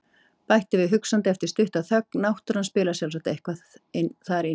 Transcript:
Bætti við hugsandi eftir stutta þögn: Náttúran spilar sjálfsagt eitthvað þar inn í.